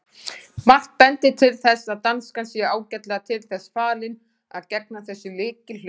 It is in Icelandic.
Margt bendir til þess að danskan sé ágætlega til þess fallin að gegna þessu lykilhlutverki.